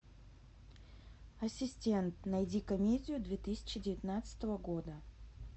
ассистент найди комедию две тысячи девятнадцатого года